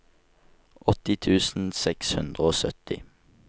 åtti tusen seks hundre og sytti